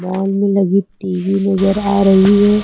सामने लगी टी_वी नजर आ रही है।